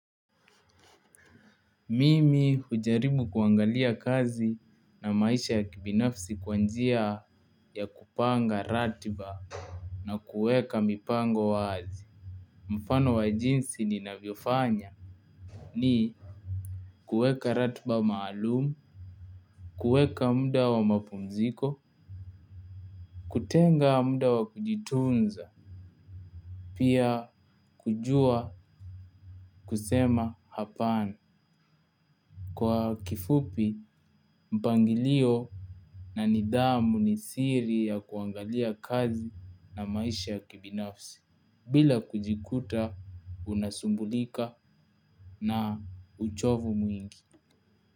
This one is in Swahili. Mimi hujaribu kuangalia kazi na maisha ya kibinafsi kwa njia ya kupanga ratiba. Na kueka mipango wazi. Mfano wa jinsi ninavyofanya. Ni kueka ratiba maalumu. Kueka muda wa mapumziko. Kutenga muda wa kujitunza. Pia kujua kusema hapana. Kwa kifupi mpangilio. Na nidhamu ni siri ya kuangalia kazi na maisha ya kibinafsi bila kujikuta unasumbulika na uchovu mwingi.